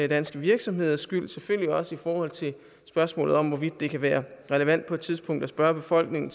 danske virksomheders skyld selvfølgelig også i forhold til spørgsmålet om hvorvidt det kan være relevant på et tidspunkt at spørge befolkningen